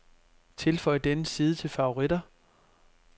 Tilføj denne side til favoritter.